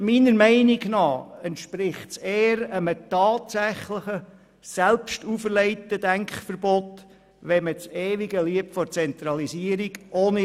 Meiner Meinung nach entspricht es eher einem tatsächlichen, selbstauferlegten Denkverbot, wenn man ohne Reflexion das ewige Lied der Zentralisierung singt.